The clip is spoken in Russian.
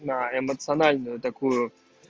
на эмоциональная такую